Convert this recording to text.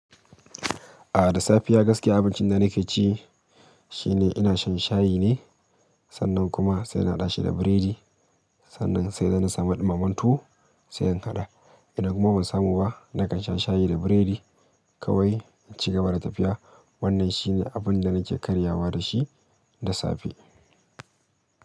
A'a, da safiya gaske abincin da nake ci, shi ne ina shan shayi ne. Sannan kuma sai na hada shi da buredi. Sannan sai da na samu ɗumamen tuwo sai in haɗa. Ina kuma ban samu ba, nakan sha shayi da biredi kawai. Cikaba da tafiya wannan shine abunda nake karyawa da shi da safe.